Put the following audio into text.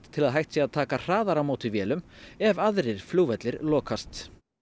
til að hægt sé að taka hraðar á móti vélum ef aðrir flugvellir lokast